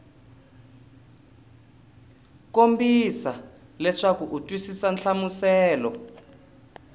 kombisa leswaku u twisisa nhlamuselo